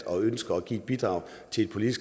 bidrage til politiske